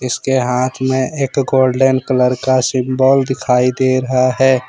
उसके हाथ में एक गोल्डन कलर का सिंबल दिखाई दे रहा है।